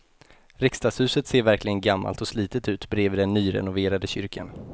Riksdagshuset ser verkligen gammalt och slitet ut bredvid den nyrenoverade kyrkan.